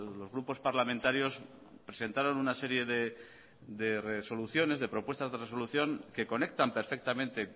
los grupos parlamentarios presentaron una serie de resoluciones de propuestas de resolución que conectan perfectamente